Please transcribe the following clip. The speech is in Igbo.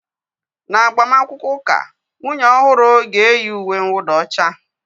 N'agbamakwụkwọ ụka, nwunye ọhụrụ ga-eyi uwe nwụda ọcha